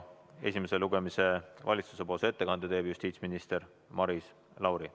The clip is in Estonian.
Esimesel lugemisel teeb valitsuse ettekande justiitsminister Maris Lauri.